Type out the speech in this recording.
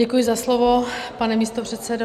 Děkuji za slovo, pane místopředsedo.